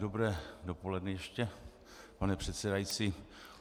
Dobré dopoledne ještě, pane předsedající.